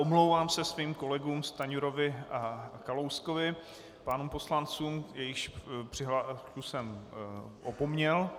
Omlouvám se svým kolegům Stanjurovi a Kalouskovi, pánům poslancům, jejichž přihlášku jsem opomněl.